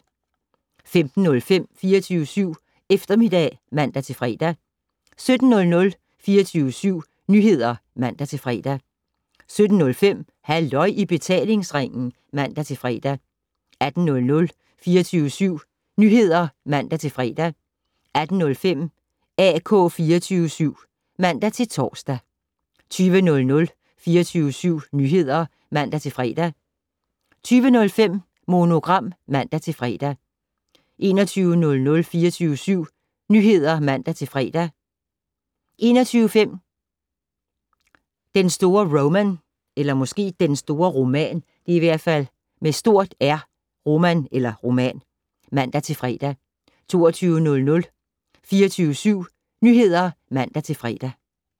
15:05: 24syv Eftermiddag (man-fre) 17:00: 24syv Nyheder (man-fre) 17:05: Halløj i betalingsringen (man-fre) 18:00: 24syv Nyheder (man-fre) 18:05: AK 24syv (man-tor) 20:00: 24syv Nyheder (man-fre) 20:05: Monogram (man-fre) 21:00: 24syv Nyheder (man-fre) 21:05: Den store Roman (man-fre) 22:00: 24syv Nyheder (man-fre)